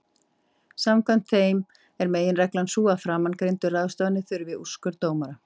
Samkvæmt þeim er meginreglan sú að framangreindar ráðstafanir þurfi úrskurð dómara.